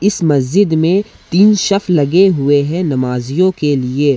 इस मस्जिद में तीन शेफ लगे हुए हैं नमाजियों के लिए।